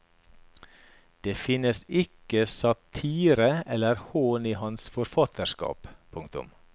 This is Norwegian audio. Det finnes ikke satire eller hån i hans forfatterskap. punktum